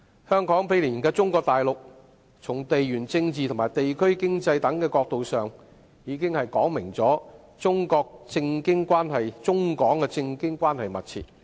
香港毗連中國大陸，從地緣政治和地區經濟等角度上已說明了中港政經關係密切。